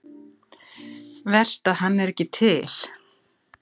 Verst að hann er ekki til.